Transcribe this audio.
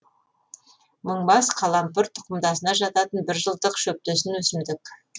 мыңбас қалампыр тұқымдасына жататын бір жылдық шөптесін өсімдік